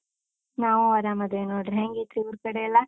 ನಾವ್ ಆರಾಮಾದಿವಿ ನೋಡ್ರಿ, ಹೆಂಗೈತ್ರಿ ಊರ್ಕಡೆಯೆಲ್ಲಾ?